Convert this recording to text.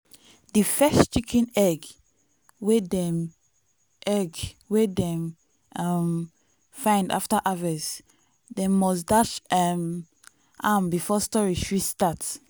di first chicken egg wey dem egg wey dem um find after harvest dem must dash um am before storage fit start.